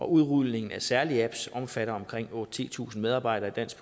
udrulning af særlige apps omfatter omkring otte tusind titusind medarbejdere i dansk